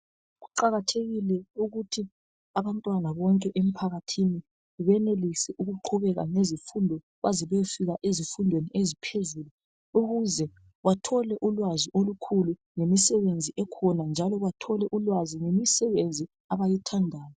Kuqakathekile ukuthi abantwana bonke emphakathini benelise ukuqhubeka ngezifundo baze bayefika ezifundweni eziphezulu ukuze bathole ulwazi olukhulu ngemisebenzi ekhona njalo bathole ulwazi ngemisebenzi abayithandayo.